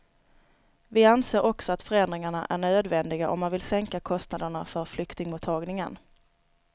Vi anser också att förändringarna är nödvändiga om man vill sänka kostnaderna för flyktingmottagningen.